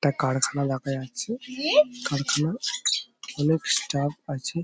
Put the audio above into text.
একটা কারখানা দেখা যাচ্ছে। কারখানায় অনেক স্টাফ আছে।